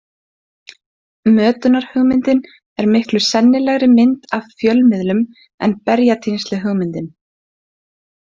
Mötunarhugmyndin er miklu sennilegri mynd af fjölmiðlum en berjatínsluhugmyndin.